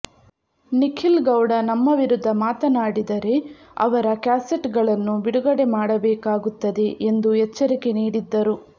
ನಿಖಿಲ್ ಗೌಡ ನಮ್ಮ ವಿರುದ್ಧ ಮಾತನಾಡಿದರೆ ಅವರ ಕ್ಯಾಸೆಟ್ ಗಳನ್ನು ಬಿಡುಗಡೆ ಮಾಡಬೇಕಾಗುತ್ತದೆ ಎಂದು ಎಚ್ಚರಿಕೆ ನೀಡಿದ್ದರು